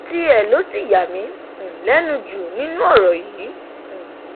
tiẹ ló ṣì yà mí um lẹnu jù nínú ọrọ yìí um